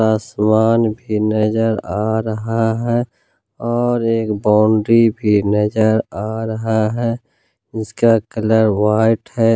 आसमान भी नजर आ रहा है और एक बाउंड्री भी नजर आ रहा है इसका कलर व्हाइट है।